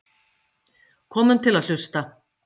Komum til að hlusta